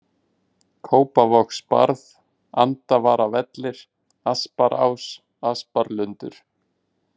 Kópavogsbarð, Andvaravellir, Asparás, Asparlundur